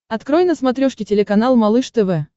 открой на смотрешке телеканал малыш тв